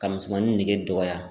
Ka misɛnmanin nege dɔgɔya